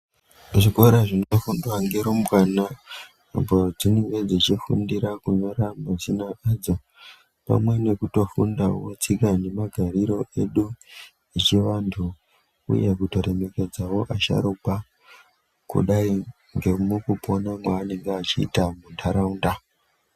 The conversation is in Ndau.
Zvikora zvinofundwa ngerumbwana apo dzinenge dzichifundira kunyora mazina adzo pamwe nekutofundawo tsika nemagarire edu echivantu uye kutoremekedzawo vasharuka kudai ngemukupona kwaanenge achiita muntaraunda.